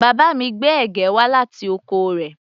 Bàbá mi gbé ẹ̀gẹ́ wá láti oko rẹ̀